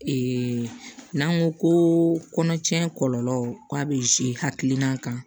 Ee n'an ko ko kɔnɔcɛ kɔlɔlɔ k'a bɛ hakilina kan